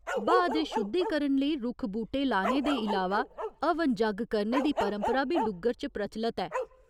ब्हाऽ दे शुद्धीकरण लेई रुक्ख बूह्टे लाने दे इलावा हवन जग्ग करने दी परंपरा बी डुग्गर च प्रचलत ऐ।